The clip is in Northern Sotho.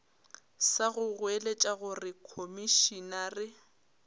sa go goeletša gore komišenare